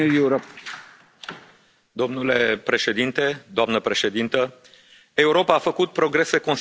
Domnule Președinte, doamna Președintă, Europa a făcut progrese considerabile în ultimele luni.